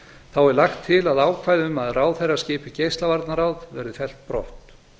þá er lagt til að ákvæði um að ráðherra skipi geislavarnaráð verði fellt brott